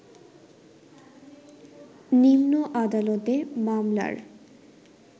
নিম্ন আদালতে মামলার